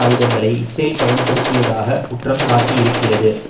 ஆயுதங்களை இஸ்ரேல் பயன்படுத்தியதாக குற்றம் சாட்டியிருக்கிறது